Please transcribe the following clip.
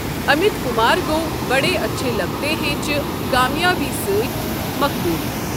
امت کمار گوٚو ''بڑے اچھے لگتے ہیں'' چہِ کامیٲبی سٕتۍ مقبوٗل ۔